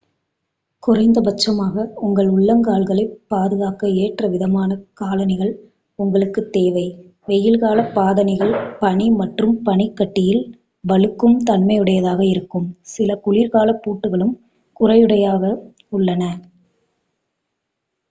குறைந்தபட்சமாக உங்கள் உள்ளங்கால்களைப் பாதுகாக்க ஏற்ற விதமான காலணிகள் உங்களுக்குத் தேவை வெயில் கால பாதணிகள் பனி மற்றும் பனிக் கட்டியில் வழுக்கும் தன்மையுடையதாக இருக்கும் சில குளிர்கால பூட்டுகளும் குறையுடையவாகவே உள்ளன